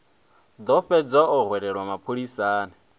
ḓo fhedza o hwelelwa mapholisani